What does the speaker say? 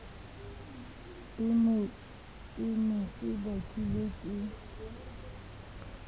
se ne se bakilwe ke